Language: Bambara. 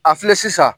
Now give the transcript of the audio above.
A filɛ sisan